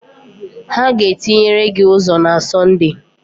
Ha ga-etinyere gị ụzọ na Sọnde